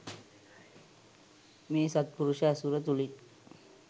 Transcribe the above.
මේ සත්පුරුෂ ඇසුර තුළින්